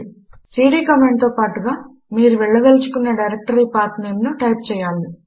CD command తో పాటుగా మీరు వెళ్లదలచుకున్న డైరెక్టరీ పాత్ నేమ్ ను టైప్ చేయాలి